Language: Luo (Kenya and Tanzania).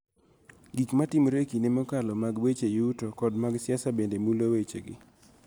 Gik ma timore e kinde mokalo, mag weche yuto, kod mag siasa bende mulo wechegi.